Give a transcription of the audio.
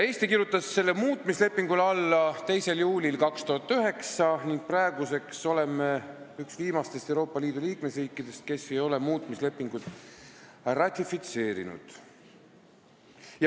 Eesti kirjutas selle muutmislepingule alla 2. juulil 2009 ning praeguseks oleme üks viimastest Euroopa Liidu liikmesriikidest, kes ei ole muutmislepingut ratifitseerinud.